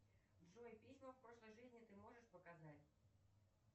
джой письма в прошлой жизни ты можешь показать